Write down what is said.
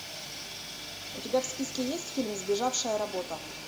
у тебя в списке есть фильм сбежавшая работа